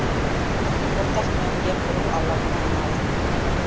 ортақ мәміле құру алаңына айналды